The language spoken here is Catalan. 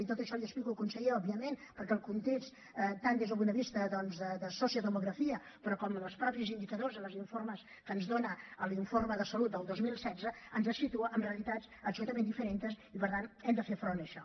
i tot això l’hi explico conseller òbviament perquè el context tant des del punt de vista doncs de sociodemografia però com els mateixos indicadors als informes que ens dona l’informe de salut del dos mil setze ens situa en realitats absolutament diferentes i per tant hem de fer front a això